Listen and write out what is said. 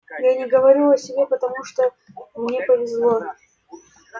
я не говорю о себе потому что мне повезло